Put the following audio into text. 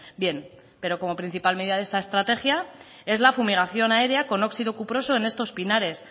bien pero como principal medida de esta estrategia es la fumigación aérea con óxido cuproso en estos pinares